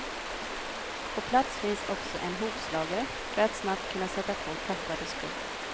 På plats finns också en hovslagare för att snabbt kunna sätta på tappade skor.